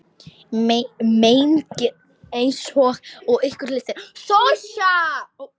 Mengið eins og ykkur lystir.